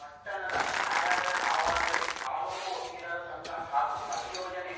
ಪಟ್ಟಣದ ನ್ಯಾಯಾಲಯ ಆವರಣದಲ್ಲಿ ತಾಲೂಕು ವಕೀಲರ ಸಂಘ ಹಾಗೂ ಅಭಿಯೋಜನೆ